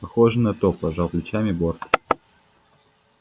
похоже на то пожал плечами борт